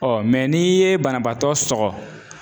mɛ n'i ye banabaatɔ sɔgɔ